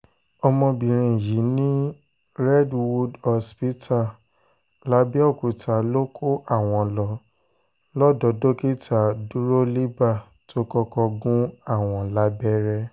ọmọbìnrin yìí ní redwood hospital làbẹ́ọ̀kúta ló kó àwọn lọ lọ́dọ̀ dókítà dúrólíbà tó kọ́kọ́ gún àwọn lábẹ́rẹ́